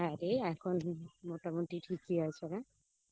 হ্যা রে এখন মোটামুটি ঠিকই আছে রে